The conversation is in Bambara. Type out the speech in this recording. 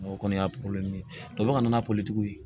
O kɔni y'a ka na n'a ye